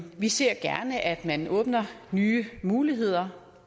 vi ser gerne at man åbner nye muligheder